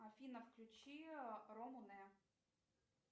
афина включи рому не